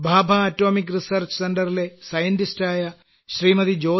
ഭാഭാ അണുശക്തി ഗവേഷണ കേന്ദ്രത്തിലെ ശാസ്ത്രജ്ഞയായ ശ്രീമതി